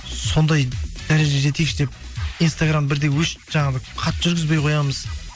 сондай дәрежеге жетейікші деп инстаграм бірде өшіп жаңа бір қатты жүргізбей қоямыз